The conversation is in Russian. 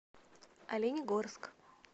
оленегорск